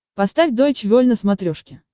поставь дойч вель на смотрешке